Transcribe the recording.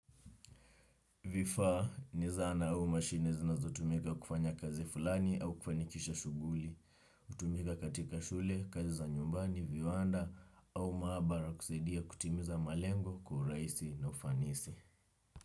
Vifaa, ni zana au mashine zinazotumika kufanya kazi fulani au kufanikisha shughuli. Hutumika katika shule, kazi za nyumbani, viwanda au maabara kusaidia kutimiza malengo, kwa uraisi na ufanisi.